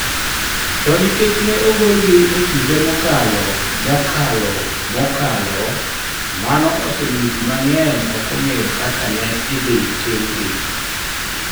To nikech ne ogolgi e kinde mokalo mokalo mokalo, mano osemiyo ji mang'eny ok ong'eyo kaka ne idhi timgi.